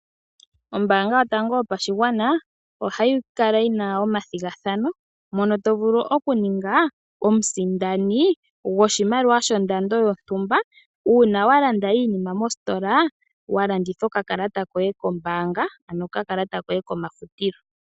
Oombaanga yotango yopashigwana ohayi kala yina omathigathano mono to vulu okuninga omusindani goshimaliwa shondando yontumba uuna walanda iinima mostola. Waladitha okakalata koye koombanga ano okakalata koye komafutilo.